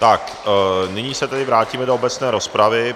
Tak nyní se tedy vrátíme do obecné rozpravy.